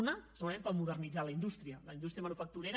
un segurament per modernitzar la indústria la indústria manufacturera